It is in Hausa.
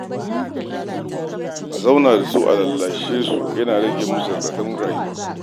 A zauna da su a lallashe su yana rage musu raɗaɗin damuwa.